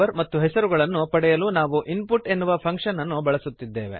ಮತ್ತು ಹೆಸರು ಗಳನ್ನು ಪಡೆಯಲು ನಾವು ಇನ್ಪುಟ್ ಎನ್ನುವ ಫಂಕ್ಶನ್ ಅನ್ನು ಬಳಸುತ್ತಿದ್ದೇವೆ